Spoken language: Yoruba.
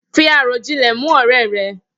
Fi àròjinlè mú òré re